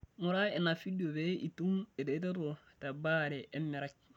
Ngura ina fidio pee itum eretoto tebaare emerai.